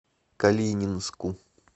калининску